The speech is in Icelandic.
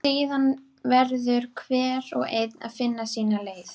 Síðan verður hver og einn að finna sína leið.